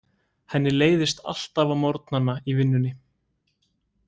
Henni leiðist alltaf á morgnana í vinnunni.